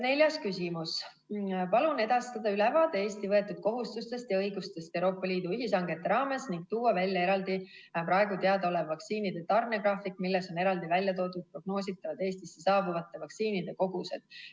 Neljas küsimus: "Lisaks palun edastada ülevaade Eesti võetud kohustustest ja õigustest Euroopa Liidu ühishangete raames ning tuua välja eraldi praegu teadaolev vaktsiinide tarnegraafik, milles on eraldi välja toodud prognoositavad Eestisse saabuvate vaktsiinide kogused.